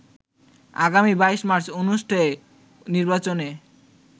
আগামী ২২ মার্চ অনুষ্ঠেয় নির্বাচনে